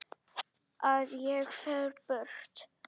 Að ég fer burt.